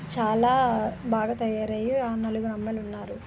చాలా బాగా తయారయ్యి ఆరు నెలలు మమ్మల్ని ఉన్నారు